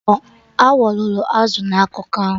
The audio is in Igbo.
Awọ loro azụ na akụkọ ahụ